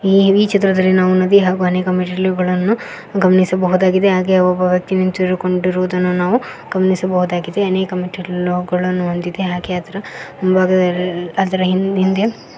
ಈ ವೀ ಚಿತ್ರದಲ್ಲಿ ನಾವು ನದಿ ಹಾಗು ಅನೇಕ ಮೆಟ್ಟಿಲುಗಳನ್ನು ಗಮನಿಸಬಹುದಾಗಿದೆ ಹಾಗೆ ಒಬ್ಬ ವ್ಯಕ್ತಿ ನಿಂತಿರುಕೊಂಡಿರುವುದನ್ನು ನಾವು ಗಮನಿಸಬಹುದಾಗಿದೆ ಅನೇಕ ಮೆಟ್ಟಿಲುಗಳನ್ನು ಹೊಂದಿದೆ ಹಾಗೆ ಅದರ ಮುಂಭಾಗದಲ್ಲಿ ಅದರ ಹಿಂದ್ ಹಿಂದೆ--